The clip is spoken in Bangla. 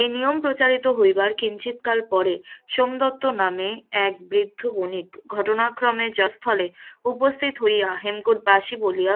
এই নয়পম প্রচারিত হইবার কিঞ্চিত কাল পরেই সোমদত্ত নামে এক বৃদ্ধ বণিক ঘটনাক্রমে জয়স্থলে উপস্থিত হইয়া হেমকূট বাসী বলিয়া